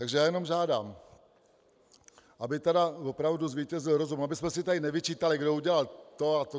Takže já jenom žádám, aby tedy opravdu zvítězil rozum, abychom si tady nevyčítali, kdo udělal to a to.